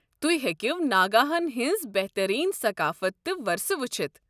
تہۍ ہیٚکِو ناگاہن ہِنٛز بہترین ثقافت تہٕ ورثہٕ وٕچھِتھ۔